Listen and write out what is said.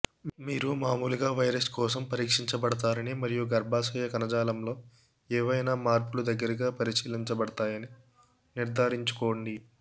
మీరు మామూలుగా వైరస్ కోసం పరీక్షించబడతారని మరియు గర్భాశయ కణజాలంలో ఏవైనా మార్పులు దగ్గరగా పరిశీలించబడతాయని నిర్ధారించుకోండి